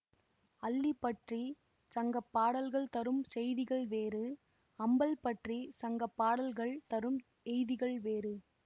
அல்லி பற்றி சங்கப்பாடல்கள் தரும் செய்திகள் வேறு ஆம்பல் பற்றி சங்கப்பாடல்கள் தரும் எய்திகள் வேறு